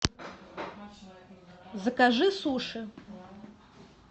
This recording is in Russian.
закажи суши